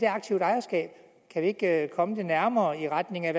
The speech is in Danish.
aktivt ejerskab kan vi ikke komme det nærmere i retning af